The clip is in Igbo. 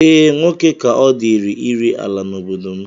Ee, nwoke ka ọ dịịrị ire ala n'obodo m